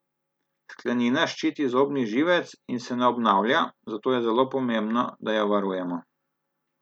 Sklenina ščiti zobni živec in se ne obnavlja, zato je zelo pomembno, da jo varujemo.